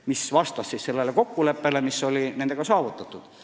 See vastas kokkuleppele, mis oli nendega saavutatud.